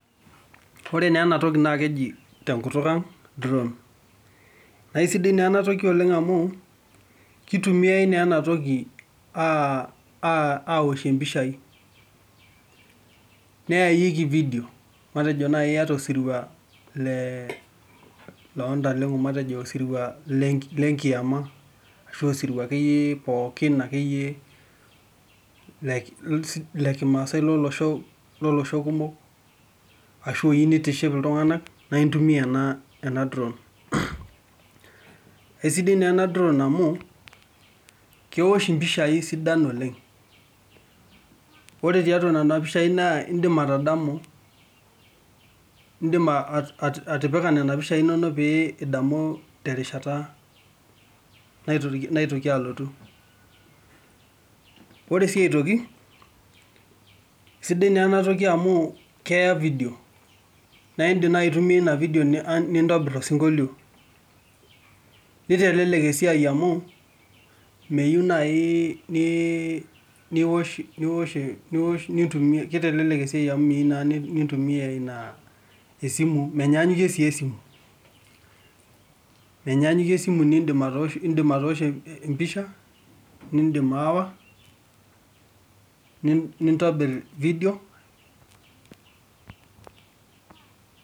Ore naa ena toki naake eji te nkutuk ang' drone, nae sidai naa ena toki oleng' amu kitumiai naa ena toki aa aa awoshie mpishai neyayieki vidio matejo nai iyata osirua lee loo ntaleng'o matejo osirua le nki le nkima ashu osirua akeyie pookin akeyie le ki le kimaasai lolosho lolosho kumok ashu oyiu nitiship iltung'anak nae intumia ena ena drone. Kesidai naa ena drone amu kewosh mpishai sidan oleng', ore tiatua nena pishai naa indim atadamu indim ati atipika nena pishai inonok pee idamu terishata naitoki naitoki alotu .Ore sii aitoki sidai naa ena toki amu keya vidio nae indim nai aitumia ina vidio nintobir osinkolio nitelelek esiai amu miyiu nai nii niwosh niwosh niwosh nitumie, kitelelek esiai amu miyiu naa nintumia ina esimu, menyaanyuke sii esimu menyaanyuke esimu niinidm atooshie empisha, indim atooshie empisha , niindim aawa, nint nintobir vidio.